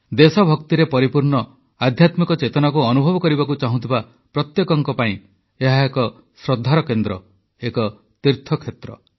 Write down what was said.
ଦେଶଭକ୍ତିରେ ପରିପୂର୍ଣ୍ଣ ଆଧ୍ୟାତ୍ମିକ ଚେତନାକୁ ଅନୁଭବ କରିବାକୁ ଚାହୁଁଥିବା ପ୍ରତ୍ୟେକଙ୍କ ପାଇଁ ଏହା ଏକ ଶ୍ରଦ୍ଧାର କେନ୍ଦ୍ର ଏକ ତୀର୍ଥକ୍ଷେତ୍ର